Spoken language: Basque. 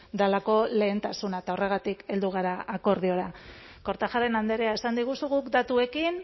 delako lehentasuna eta horregatik heldu gara akordiora kortajarena andrea esan diguzu guk datuekin